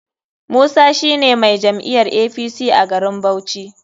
Musa shine mai jam'iyar apc a garin bauchi.